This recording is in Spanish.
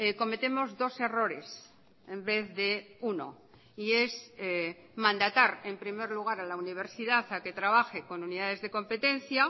cometemos dos errores en vez de uno y es mandatar en primer lugar a la universidad a que trabaje con unidades de competencia